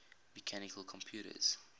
mechanical computers